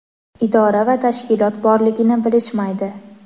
idora va tashkilot borligini bilishmaydi.